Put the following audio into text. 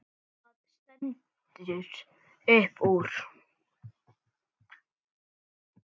Það stendur upp úr.